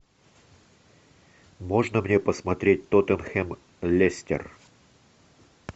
можно мне посмотреть тоттенхэм лестер